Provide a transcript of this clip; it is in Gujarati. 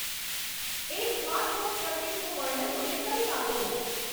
એક સ્માર્ટફોન સર્કિટનું વર્ણન મને કરી આપો